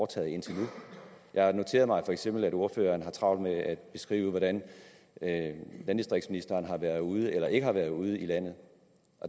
taget indtil nu jeg noterede mig feks at ordføreren har travlt med at beskrive hvordan landdistriktsministeren har været ude eller ikke har været ude i landet